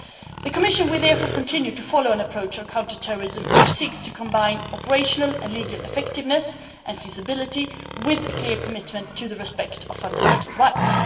The Commission will therefore continue to follow an approach on counter terrorism which seeks to combine operational and legal effectiveness and feasibility with a clear commitment to the respect of fundamental rights.